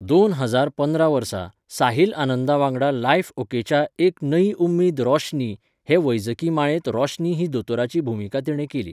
दोन हजार पंदरा वर्सा, साहिल आनंदा वांगडा लायफ ओकेच्या एक नयी उम्मीद रोशनी, हे वैजकी माळेंत रोशनी ही दोतोराची भुमिका तिणें केली.